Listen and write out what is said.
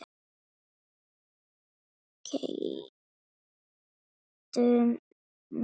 Keyptu mig?